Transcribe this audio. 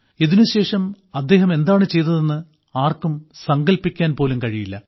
ഇതിനുശേഷം അവർ എന്താണ് ചെയ്തതെന്ന് ആർക്കും സങ്കൽപ്പിക്കാൻ പോലും കഴിയില്ല